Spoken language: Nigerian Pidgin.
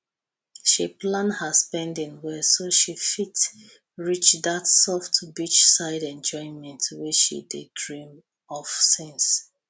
she plan her spending well so she fit reach that soft beachside enjoyment wey she dey dream of since